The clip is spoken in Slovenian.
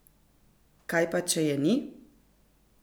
Kaj pa če je ni?